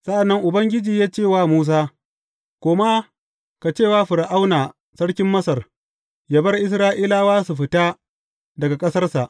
Sa’an nan Ubangiji ya ce wa Musa, Koma ka ce wa Fir’auna sarkin Masar, yă bar Isra’ilawa su fita daga ƙasarsa.